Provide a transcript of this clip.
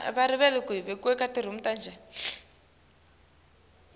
indlela ledlalwa ngayo